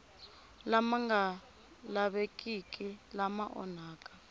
lama nga lavekiki lama onhaka